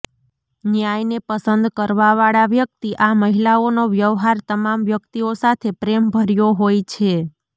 ન્યાયને પસંદ કરવાવાળા વ્યક્તિ આ મહિલાઓનો વ્યવહાર તમામ વ્યક્તિઓ સાથે પ્રેમ ભર્યો હોય છે